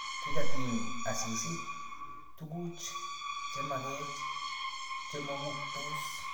Kikatiny Asisi tuguj chemengech chemonomktos